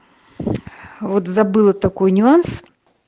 вот забыла такой нюанс